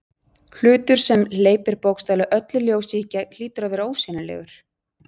Hlutur sem hleypir bókstaflega öllu ljósi í gegn hlýtur að vera ósýnilegur.